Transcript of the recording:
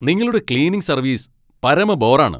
നിങ്ങളുടെ cleaning service പരമ ബോറാണ്.